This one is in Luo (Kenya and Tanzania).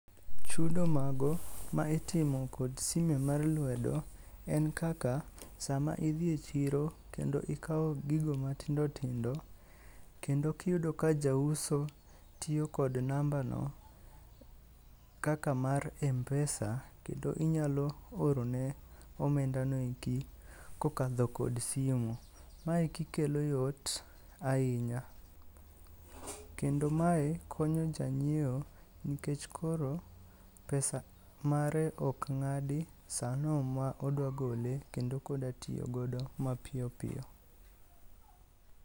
Chudo mago ma itimo kod sime mar lwedo en kaka sama idhi e chiro kendo ikawo gigo matindotindo kendo kiyudo ka jauso tiyo kod namba no kaka mar mpesa kendo inyalo orone omendano eki kokadho kod simu. Maeki kelo yot ahinya, kendo mae konyo janyieo nkech koro pesa mare ok ng'adi sano ma odwa gole kendo kodatiyogodo mapiyo piyo.